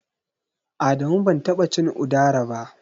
Adamu ban taɓa cin Udara ba.